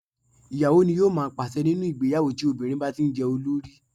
Ì̀yàwó ní yóò má pàṣe nínú ìgbéyàwó tí obìnrin bá tí jẹ́ olórí.